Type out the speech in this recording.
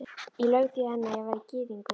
Ég laug því að henni, að ég væri gyðingur